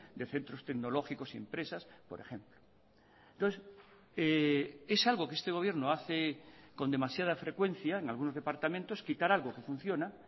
de centros tecnológicos y empresas por ejemplo entonces es algo que este gobierno hace con demasiada frecuencia en algunos departamentos quitar algo quefunciona